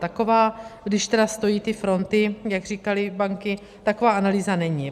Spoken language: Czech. Taková, když tedy stojí ty fronty, jak říkaly banky, taková analýza není.